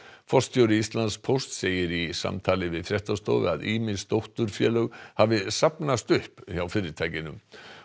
forstjóri Íslandspósts segir í samtali við fréttastofu að ýmis dótturfélög hafi safnast upp hjá fyrirtækinu